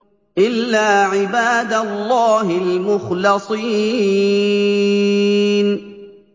إِلَّا عِبَادَ اللَّهِ الْمُخْلَصِينَ